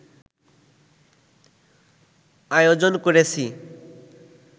আয়োজন করেছি